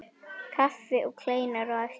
Kaffi og kleinur á eftir.